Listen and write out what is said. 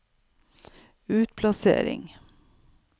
utplassering